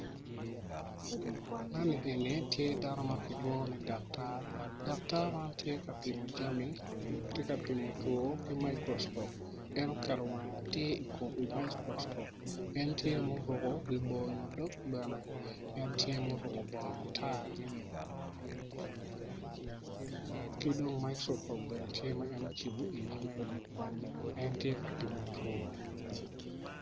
Man eni tye dano ma kilwongo ni dakatar kono odongo mabeco adada pot anyogi man kono tye rangi ma alum alum anyogi miyo itwa cam i yo mapol maclo moko.